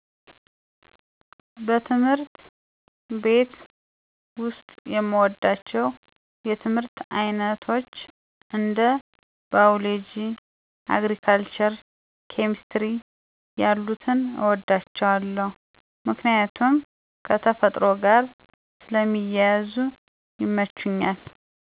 በትምህርት ቤት ውስጥ የምወዳቸው የትምህርት አይነቶች እንደ ባዮሎጂ፣ አግሪካልቸር፣ ኬምስትሪ ያሉትን እወዳቸዋለሁ ምክንያቱም ከተፈጥሮ ጋር ስለሚያያዙ ይመቹኛል።